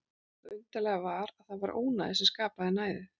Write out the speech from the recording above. Og það undarlega var að það var ónæði sem skapaði næðið.